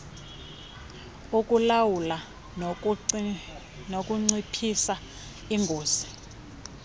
ukulawula nokunciphisa ingozi